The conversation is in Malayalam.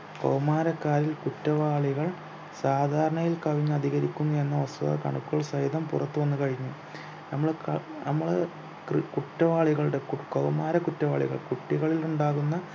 കൗമാരക്കാരിൽ കുറ്റവാളികൾ സാധാരണയിൽ കവിഞ്ഞ് അധികരിക്കുന്നു എന്ന വസ്തുത കണക്കുകൾ സഹിതം പുറത്തു വന്നു കഴിഞ്ഞു നമ്മള ക നമ്മള് കൃ കുറ്റവാളികളുടെ കു കൗമാര കുറ്റവാളികൾ കുട്ടികളിൽ ഉണ്ടാകുന്ന